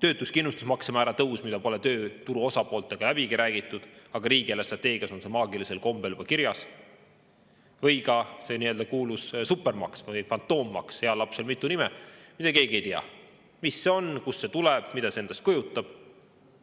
töötuskindlustusmakse määra tõus, mida pole tööturu osapooltega läbigi räägitud, aga on riigieelarve strateegias maagilisel kombel juba kirjas, või ka see kuulus supermaks või fantoommaks – heal lapsel mitu nime –, mille kohta keegi ei tea, mis see on, kust see tuleb ja mida see endast kujutab.